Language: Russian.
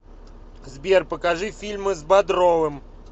сбер покажи фильмы с бодровым